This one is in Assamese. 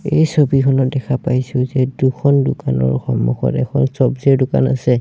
এই ছবিখনত দেখা পাইছোঁ যে দুখন দোকানৰ সন্মুখত এখন চৱজিৰ দোকান আছে।